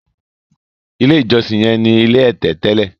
ilé ìjósìn yen ní ilé ẹ̀tẹ̀ tẹlẹ.